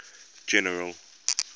general